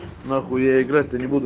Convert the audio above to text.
нахуй я играть то не буду